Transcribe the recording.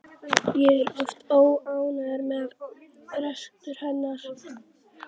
Ég var oft óánægður með rekstur hennar.